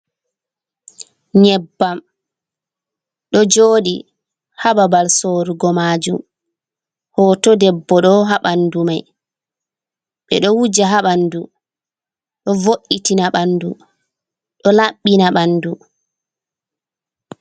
Nyebbam ɗo joɗi ha babal sorrugo majum, hoto debbo ɗo ha ɓanndu mai ɓeɗo wuja ha ɓandu ɗo vo’itina ɓandu ɗo labbina ɓandu.